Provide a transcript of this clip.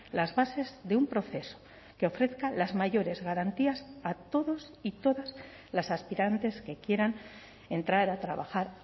las bases de un proceso que ofrezca las mayores garantías a todos y todas las aspirantes que quieran entrar a trabajar